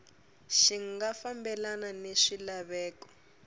xi nga fambelani ni swilaveko